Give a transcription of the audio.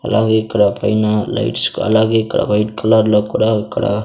అలాగే ఇక్కడ పైన లైట్స్ అలాగే ఇక్కడ వైట్ కలర్ లో కూడా ఇక్కడ.